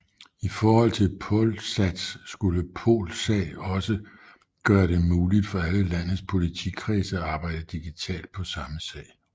I forhold til Polsas skulle Polsag også gøre det muligt for alle landets politikredse at arbejde digitalt på samme sag